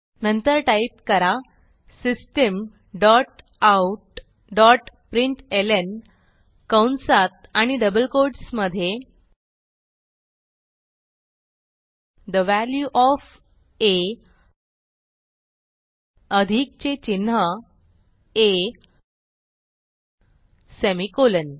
नंतर टाईप करा system dot out dot println कंसात आणि डबल quotesमधे ठे वॅल्यू ओएफ आ अधिकचे चिन्ह आ सेमिकोलॉन